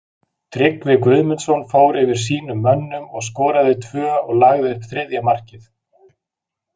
Tryggvi Guðmundsson fór fyrir sínum mönnum og skoraði tvö og lagði upp þriðja markið.